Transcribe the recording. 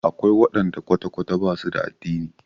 Akwai waɗanda kwata-kwata ba su da addini.